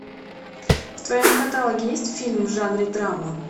в твоем каталоге есть фильм в жанре драма